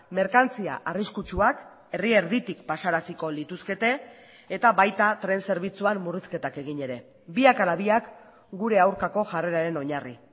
merkantzia arriskutsuak herri erditik pasaraziko lituzkete eta baita tren zerbitzuan murrizketak egin ere biak ala biak gure aurkako jarreraren oinarri